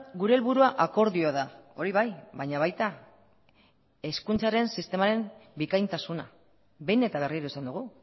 gure helburua akordioa da hori bai baina baita hezkuntzaren sistemaren bikaintasuna behin eta berriro esan dugu